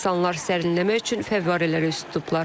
İnsanlar sərinlənmək üçün fəvvarələrə üz tutublar.